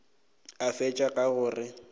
a fetša ka go re